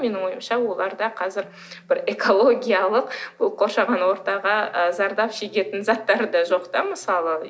менің ойымша оларда қазір бір экологиялық қоршаған ортаға ы зардап шегетін заттары да жоқ та мысалы